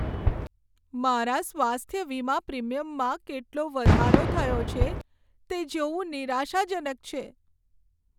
મારા સ્વાસ્થ્ય વીમા પ્રિમીયમમાં કેટલો વધારો થયો છે, તે જોવું નિરાશાજનક છે.